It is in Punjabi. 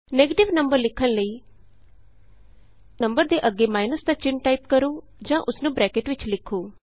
ਨੈਗਟਿਵ ਨੰਬਰ ਲਿਖਣ ਲਈ ਨੰਬਰ ਦੇ ਅੱਗੇ ਮਾਈਨੱਸ ਦਾ ਚਿੰਨ੍ਹ ਟਾਈਪ ਕਰੋ ਜਾਂ ਉਸ ਨੂੰ ਬਰੈਕਟ ਵਿਚ ਲਿਖੋ